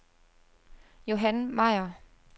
Johan Meier